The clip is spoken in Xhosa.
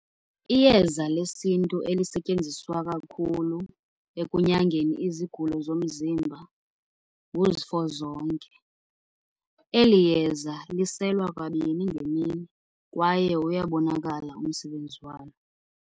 Iyeza lesiNtu elisetyenziswa kakhulu ekunyangeni izigulo zomzimba nguzifozonke. Eli yeza liselwa kabini ngemini kwaye uyabonakala umsebenzi walo.